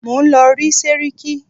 Mò ń lọ rí sẹ́ríkí.